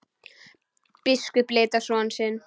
Biskup leit á son sinn.